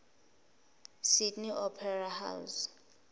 sydney opera house